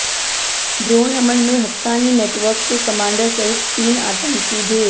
drone हमल में Haqqani network के कमांडर सहित तीन आतंकी ढेर